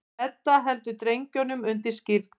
Edda heldur drengnum undir skírn.